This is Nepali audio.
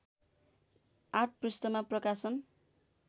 ८ पृष्ठमा प्रकाशन